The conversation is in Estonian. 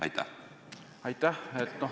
Aitäh!